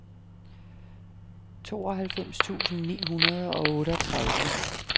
tooghalvfems tusind ni hundrede og otteogtredive